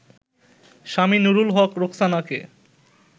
Swami Nurul Haque রোকসানাকে